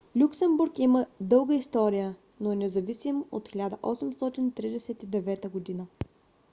люксембург има дълга история но е независим от 1839 г